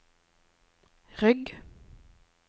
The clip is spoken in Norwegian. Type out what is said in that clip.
rygg